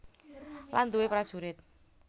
Lan duwé prajurit